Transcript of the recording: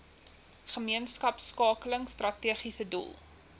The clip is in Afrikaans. gemeenskapskakeling strategiese doel